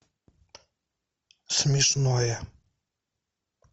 смешное